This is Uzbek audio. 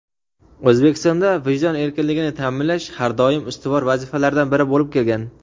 O‘zbekistonda vijdon erkinligini ta’minlash har doim ustuvor vazifalardan biri bo‘lib kelgan.